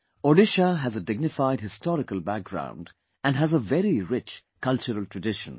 Odisha has a dignified historical background and has a very rich cultural tradition